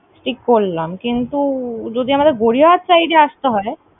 ঠিক করলাম, কিন্তু যদি আমাদের গড়িয়াহাট side এ আসতে হয়।